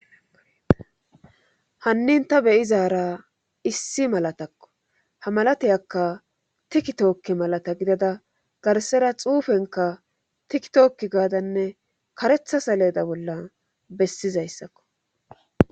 hannin ta beyizaara issi malatakko ha malateyakka tikki tookke malata gidada garsera xuufenka tikki tookki gaadanne karetha saleda bolla bessizayssakko